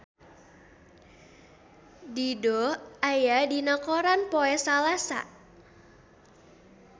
Dido aya dina koran poe Salasa